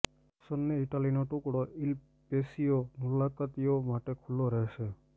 સન્ની ઇટાલીનો ટુકડો il patio મુલાકાતીઓ માટે ખુલ્લો રહેશે